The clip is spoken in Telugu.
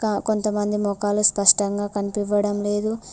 క కొంతమంది మొఖాలు స్పష్టంగా కనిపివ్వడం లేదు.